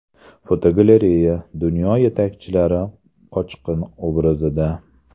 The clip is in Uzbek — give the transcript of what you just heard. Fotogalereya: Dunyo yetakchilari qochqin obrazida.